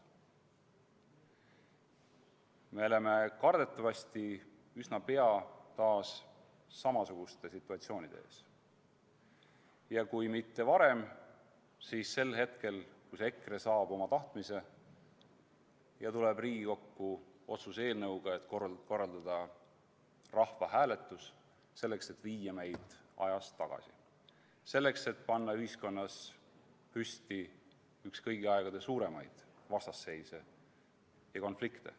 Me oleme kardetavasti üsna pea taas samasuguste situatsioonide ees, ja kui mitte varem, siis sel hetkel, kui EKRE saab oma tahtmise ja tuleb Riigikokku otsuse eelnõuga, et korraldada rahvahääletus, selleks et viia meid ajas tagasi, selleks et panna ühiskonnas püsti üks kõigi aegade suuremaid vastasseise, konflikte.